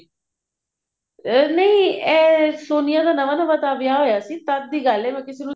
ਨਹੀਂ ਇਹ ਸੋਨੀਆ ਦਾ ਨਵਾਂ ਨਵਾਂ ਤਾਂ ਵਿਆਹ ਹੋਇਆ ਸੀ ਤਦ ਦੀ ਗੱਲ ਹੈ ਮੈਂ ਕਿਸੇ ਨੂੰ